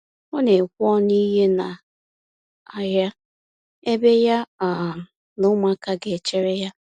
Ọ na ekwe ọnụ ihe na ahịa, ebe ya um na ụmụaka ga echere ya